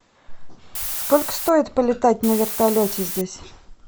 сколько стоит полетать на вертолете здесь